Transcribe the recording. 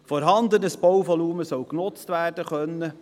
Vorhandenes Bauvolumen soll genutzt werden können.